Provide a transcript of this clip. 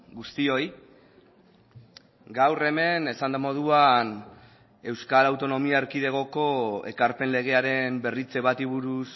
guztioi gaur hemen esan den moduan euskal autonomia erkidegoko ekarpen legearen berritze bati buruz